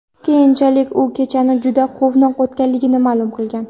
Keyinchalik u kechani juda quvnoq o‘tganligini ma’lum qilgan.